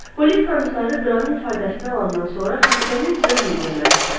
Polis komissarı Qranın ifadəsini alandan sonra xəstənin özünü görmək istədi.